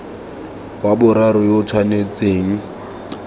wa boraro yo o tshwanetseng